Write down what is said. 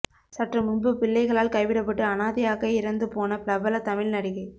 சற்று முன்பு பிள்ளைகளால் கைவிடப்பட்டு அனாதையாக இறந்து போன பிரபல தமிழ் நடிகை